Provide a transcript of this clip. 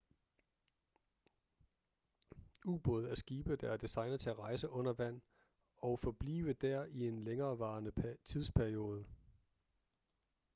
ubåde er skibe der er designet til at rejse under vand og forblive der i en længevarende tidsperiode